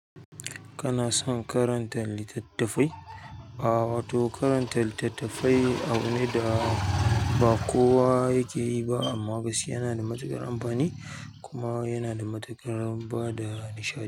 Kana son karanta littattafai? Ba, wato karantar littattafai abu ne da ba kowa yake yi ba amma gaskiya yana da matuƙar amfani kuma yana da matuƙar bada nishaɗi.